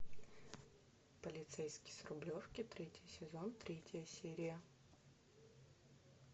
полицейский с рублевки третий сезон третья серия